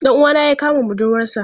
Dan uwana ya yi kamun budurwarsa.